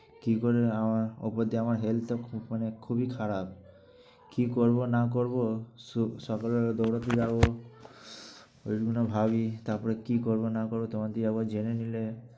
কী করে যে আমার ওপর দিয়ে আমার health টা খুব মানে খুবই খারাপ। কী করব না করব, সু~ সকাল বেলা দৌঁড়াতে যাব ঐ মনে ভাবি। তারপরে কী করব না করব তোমার দিয়ে আবার জেনে নিলে